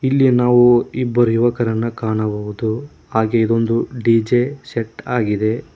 ಇಲ್ಲಿ ನಾವು ಇಬ್ಬರು ಯುವಕರನ್ನ ಕಾಣಬಹುದು ಹಾಗೆ ಇದೊಂದು ಡಿ_ಜೆ ಸೆಟ್ ಆಗಿದೆ.